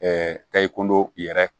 tayi kundo i yɛrɛ